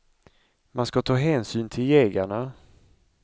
Man ska ta hänsyn till jägarna.